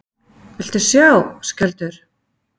Viltu sjá, Skjöldur!